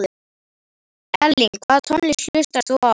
Elling Hvaða tónlist hlustar þú á?